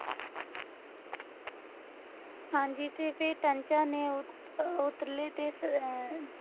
ਹਾਂਜੀ ਤੇ ਫਿਰ ਕੰਚਾਂ ਨੇ ਉ ਉਤਰਲੇ ਤੇ ਅਹ